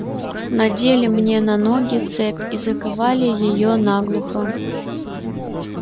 надели мне на ноги цепь и заковали её наглухо